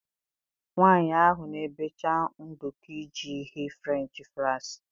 Nwanyị ahụ na-ebecha nduku iji ghee Frenchị fraịs.